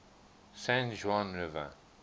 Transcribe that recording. san juan river